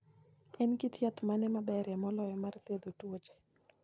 En kit yath mane maberie moloyo mar thiedho tuoche?